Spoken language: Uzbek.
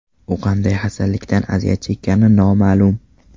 U qanday xastalikdan aziyat chekkani noma’lum.